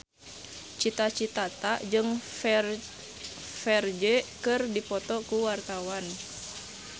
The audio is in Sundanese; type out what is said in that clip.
Cita Citata jeung Ferdge keur dipoto ku wartawan